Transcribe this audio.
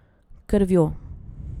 Krvjo.